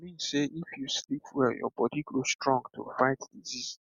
i mean sey if you sleep well your body go strong to fight disease